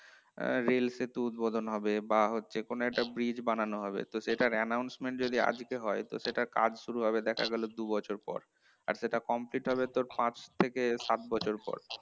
rail সেতু উদ্বোধন হবে বা হচ্ছে কোন একটা bridge বানানো হবে তো সেটার announcement যদি আজকে হয় তো সেটার কাজ শুরু হবে দেখা গেলে দুবছর পর আর সেটা complete হবে তোর পাঁচ থেকে সাত বছর পর